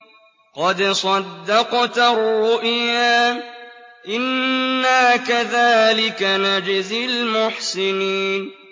قَدْ صَدَّقْتَ الرُّؤْيَا ۚ إِنَّا كَذَٰلِكَ نَجْزِي الْمُحْسِنِينَ